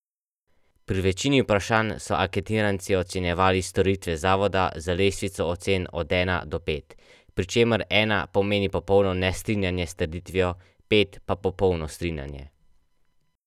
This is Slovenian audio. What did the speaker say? Pri večini vprašanj so anketiranci ocenjevali storitve zavoda z lestvico ocen od ena do pet, pri čemer ena pomeni popolno nestrinjanje s trditvijo, pet pa popolno strinjanje.